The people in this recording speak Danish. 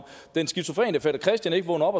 den skizofrene fætter christian ikke vågner op